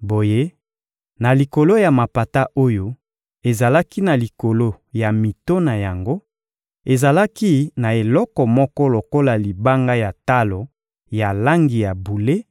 Boye, na likolo ya mapata oyo ezalaki na likolo ya mito na yango, ezalaki na eloko moko lokola libanga ya talo ya langi ya bule